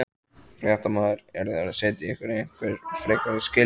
Fréttamaður: Eru þeir að setja ykkur einhver frekari skilyrði?